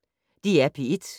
DR P1